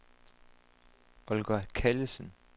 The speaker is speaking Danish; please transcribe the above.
Olga Callesen